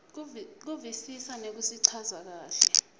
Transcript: kuvisisa nekusichaza kahle